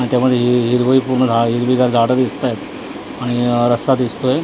आणि त्यामध्ये हि हिरवंही पूर्ण झा हिरवीगार झाडं दिसत आहेत आणि रस्ता दिसतोय .